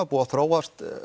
búið að þróast